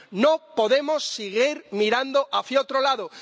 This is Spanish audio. No podemos seguir mirando hacia otro lado.